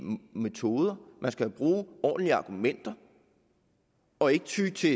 metoder man skal bruge ordentlige argumenter og ikke ty til